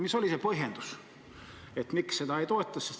Mis oli see põhjendus, miks seda ei toetata?